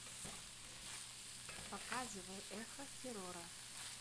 показывай эхо террора